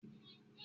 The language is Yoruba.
e dìde, adájọ pàṣẹ.